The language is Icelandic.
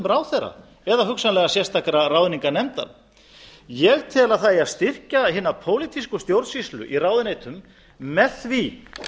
ráðherra eða hugsanlega sérstakrar ráðningarnefndar ég tel að það eigi að styrkja hina pólitísku stjórnsýslu í ráðuneytum með því